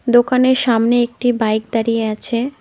দোকানের সামনে একটি বাইক দাঁড়িয়ে আছে।